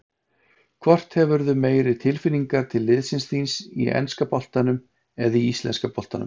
Hvort hefurðu meiri tilfinningar til liðsins þíns í enska boltanum eða í íslenska boltanum?